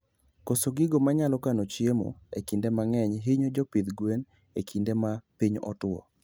Koso gigo manyalo kano chiemo e kinde mangeny hinyo jopidh gwen e kinde ma piny otuo